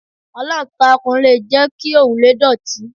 Aláǹtakùn le jẹ́ kí òrùlé dọ̀tí.